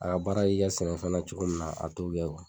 A ka baara y'i ka sɛnɛfɛn na cogo min na a t'o kɛ